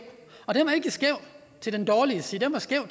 og den var ikke skæv til den dårlige side den var skæv